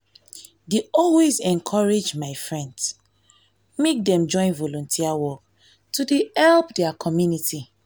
dey always encourage my friends[ um ] make dem join volunteer work to help di community.